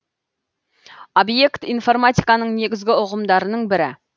обьект информатиканың негізгі ұғымдарының бірі